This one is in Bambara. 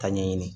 Ka ɲɛɲini